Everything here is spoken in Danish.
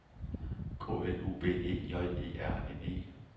K L U B E J E R N E